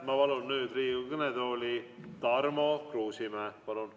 Ma palun nüüd Riigikogu kõnetooli Tarmo Kruusimäe!